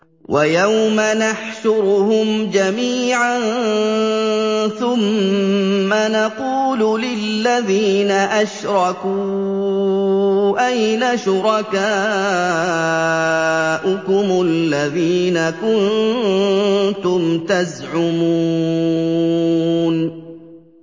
وَيَوْمَ نَحْشُرُهُمْ جَمِيعًا ثُمَّ نَقُولُ لِلَّذِينَ أَشْرَكُوا أَيْنَ شُرَكَاؤُكُمُ الَّذِينَ كُنتُمْ تَزْعُمُونَ